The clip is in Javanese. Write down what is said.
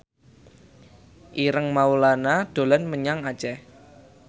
Ireng Maulana dolan menyang Aceh